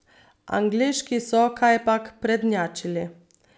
Angleški so kajpak prednjačili.